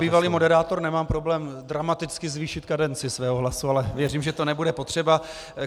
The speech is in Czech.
Já jako bývalý moderátor nemám problém dramaticky zvýšit kadenci svého hlasu, ale věřím, že to nebude potřeba.